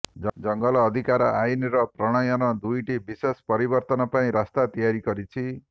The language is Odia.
ଜଙ୍ଗଲ ଅଧିକାର ଆଇନର ପ୍ରଣୟନ ଦୁଇଟି ବିଶେଷ ପରିବର୍ତ୍ତନ ପାଇଁ ରାସ୍ତା ତିଆରି କରିଛି